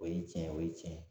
O ye cɛn ye o ye cɛn ye